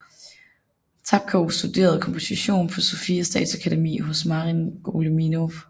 Tapkov studerede komposition på Sofia Statsakademi hos Marin Goleminov